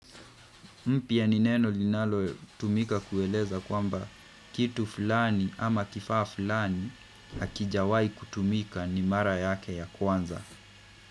Mpya ni neno linalotumika kueleza kwamba kitu fulani ama kifaa fulani hakijawai kutumika ni mara yake ya kwanza.